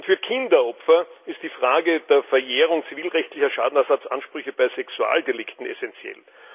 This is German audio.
Für Kinderopfer ist die Frage der Verjährung zivilrechtlicher Schadenersatzansprüche bei Sexualdelikten essenziell.